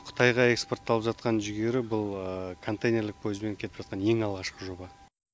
қытайға экспортталып жатқан жүгері бұл контейнерлік поездбен кетіп жатқан ең алғашқы жоба